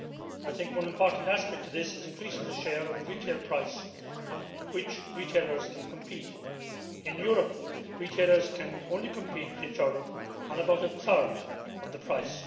I think one important aspect of this is increasing the share of the retail price on which retailers can compete. In Europe retailers can only compete with each other on about a third of the price.